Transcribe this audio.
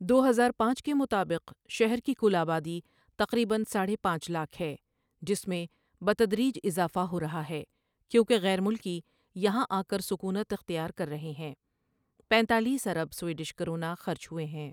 دو ہزار پانچ کے مطابق شہر کی کل آبادی تقریباً ساڑھے پانچ لاکھ ہے ،جس میں بتدریج اضافہ ہو رہا ہے، کیونکہ غیر ملکی یہاں آکر سکونت اختیار کر رہے ہیں پنتالیس ارب سویڈش کرونا خرچ ہوے ہیں ۔